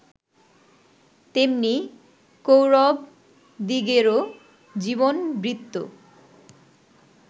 তেমনি কৌরবদিগেরও জীবনবৃত্ত